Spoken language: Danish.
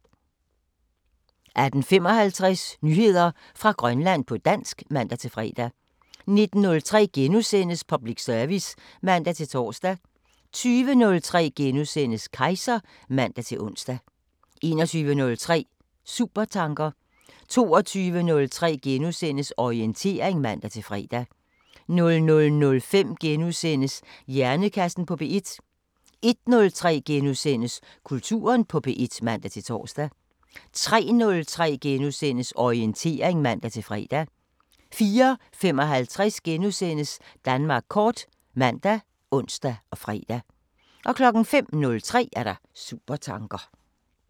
18:55: Nyheder fra Grønland på dansk (man-fre) 19:03: Public service *(man-tor) 20:03: Kejser *(man-ons) 21:03: Supertanker 22:03: Orientering *(man-fre) 00:05: Hjernekassen på P1 * 01:03: Kulturen på P1 *(man-tor) 03:03: Orientering *(man-fre) 04:55: Danmark kort *( man, ons, fre) 05:03: Supertanker